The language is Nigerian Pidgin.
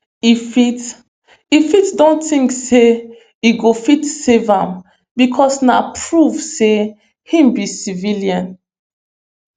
e fit e fit don tink say e go fit save am bicos na proof say im be civilian